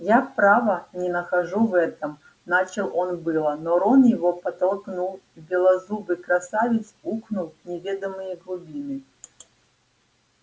я право не нахожу в этом начал он было но рон его подтолкнул и белозубый красавец ухнул в неведомые глубины